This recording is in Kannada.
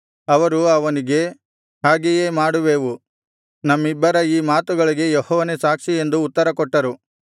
ಅವರು ಅವನಿಗೆ ಹಾಗೆಯೇ ಮಾಡುವೆವು ನಮ್ಮಿಬ್ಬರ ಈ ಮಾತುಗಳಿಗೆ ಯೆಹೋವನೇ ಸಾಕ್ಷಿ ಎಂದು ಉತ್ತರಕೊಟ್ಟರು